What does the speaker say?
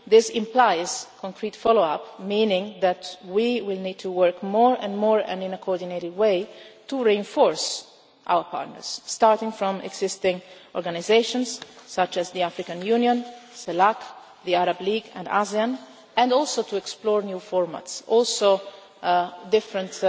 This implies concrete follow up, meaning that we will need to work more and more, and in a coordinated way, to reinforce our partners, starting with existing organisations such as the African Union, CELAC, the Arab League and ASEAN, and also to explore new formats and also different